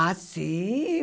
Ah, sim.